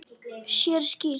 Sér skýrt.